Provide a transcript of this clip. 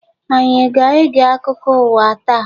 Anyị aga-ege akụkọ ụwa taa?